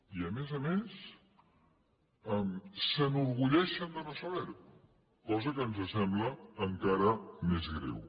i a més a més s’enorgulleixen de no saber ho cosa que ens sembla encara més greu